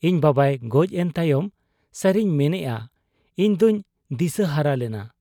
ᱤᱧ ᱵᱟᱵᱟᱭ ᱜᱚᱡ ᱮᱱ ᱛᱟᱭᱚᱢ ᱥᱟᱹᱨᱤᱧ ᱢᱮᱱᱮᱜ ᱟ, ᱤᱧᱫᱚᱧ ᱫᱤᱥᱟᱹᱦᱟᱨᱟ ᱞᱮᱱᱟ ᱾